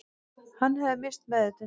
Hann hefði misst meðvitund